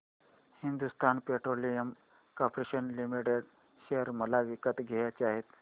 Hindustan petroleum corporation limited share मला विकत घ्यायचे आहेत